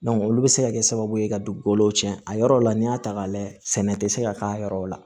olu bɛ se ka kɛ sababu ye ka dugukolo cɛn a yɔrɔ la n'i y'a ta k'a lajɛ sɛnɛ tɛ se ka k'a yɔrɔ la